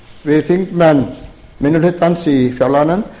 við þingmenn minni hlutans í fjárlaganefnd